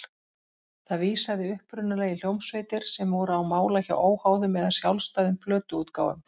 Það vísaði upprunalega í hljómsveitir sem voru á mála hjá óháðum eða sjálfstæðum plötuútgáfum.